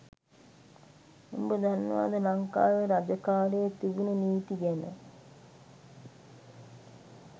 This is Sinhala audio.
උබ දන්නවද ලංකාවේ රජ කාලේ තිබුණු නීති ගැන?